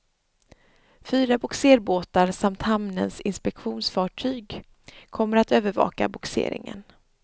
Fyra bogserbåtar samt hamnens inspektionsfartyg kommer att övervaka bogseringen.